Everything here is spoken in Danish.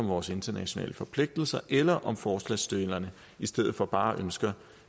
vores internationale forpligtelser eller om forslagsstillerne i stedet for bare ønsker